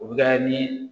O bɛ kɛ ni